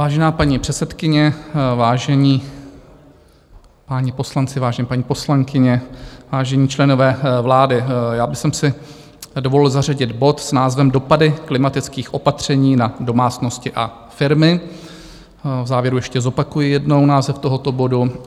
Vážená paní předsedkyně, vážení páni poslanci, vážené paní poslankyně, vážení členové vlády, já bych si dovolil zařadit bod s názvem Dopady klimatických opatření na domácnosti a firmy, v závěru ještě zopakuji jednou název tohoto bodu.